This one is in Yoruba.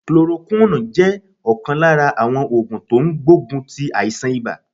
Chloroquine jẹ́ ọ̀kan lára àwọn ògùn tó n gbógun ti àìsàn ibà